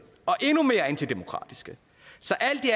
og endnu mere antidemokratiske så alt i